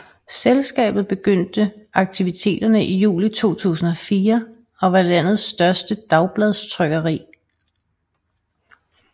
Selskabet begyndte akvititerne i juli 2004 og var landets største dagbladstrykkeri